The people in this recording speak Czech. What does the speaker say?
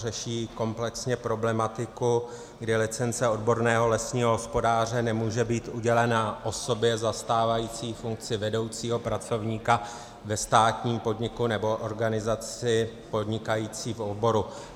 Řeší komplexně problematiku, kdy licence odborného lesního hospodáře nemůže být udělena osobě zastávající funkci vedoucího pracovníka ve státním podniku nebo organizaci podnikající v oboru.